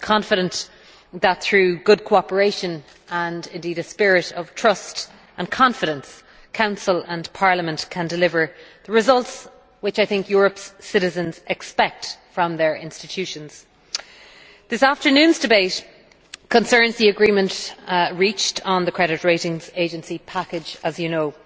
I am confident that through good cooperation and indeed a spirit of trust and confidence Council and Parliament can deliver the results which I think Europe's citizens expect from their institutions. This afternoon's debate concerns the agreement reached on the Credit Ratings Agency package as you know